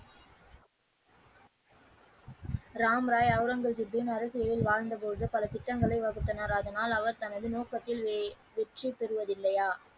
ராம் ராய் ஔரங்கஜிப்பின் அரசியலில் வாழ்ந்த பொழுது பல திட்டங்களை வகுத்தனர் அதனால் அவர் தனது நோக்கத்தில் வெற்றி பெறுவது இல்லையா.